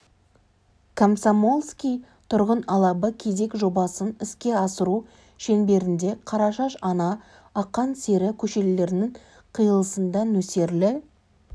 комсомольский тұрғын алабы кезек жобасын іске асыру шеңберінде қарашаш ана ақан сері көшелерінің қиылысында нөсерлі